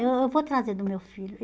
Eu eh vou trazer do meu filho.